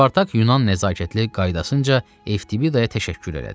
Spartak Yunan nəzakətli qaydasınca Eftibidaya təşəkkür elədi.